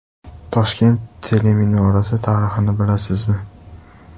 Toshkent teleminorasi tarixini bilasizmi?.